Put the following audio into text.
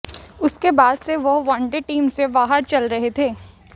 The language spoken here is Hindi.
उसके बाद से वह वनडे टीम से बाहर चल रहे थे